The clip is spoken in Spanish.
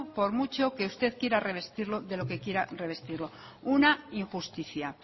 por mucho que usted quiera revestirlo de lo que quiera revestirlo una injusticia